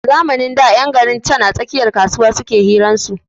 A zamanin da ƴan garin can a tsakiyar kasuwa suke hiran su